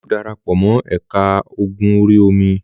Olú yóò dara pọ̀ mọ́ ẹ̀ka ogun orí-omi.